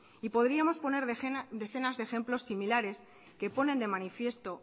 y podríamos poner decenas de ejemplos similares que ponen de manifiesto